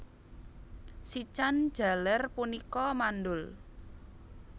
Sican jaler punika mandhul